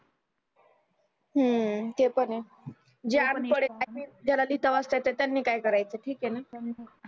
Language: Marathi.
हम्म ते पण आहे जे अनपद आहे ज्याला लिहता वाचता येत नाही त्यांनी काय कराच